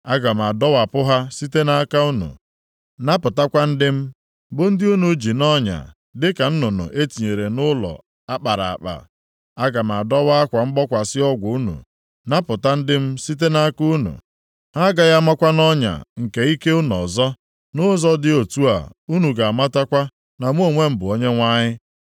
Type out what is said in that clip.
Aga m adọwa akwa mgbokwasị ọgwụ unu, napụta ndị m site nʼaka unu. Ha agaghị amakwa nʼọnya nke ike unu ọzọ. Nʼụzọ dị otu a unu ga-amatakwa na mụ onwe m bụ Onyenwe anyị.